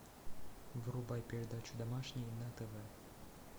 врубай передачу домашний на тв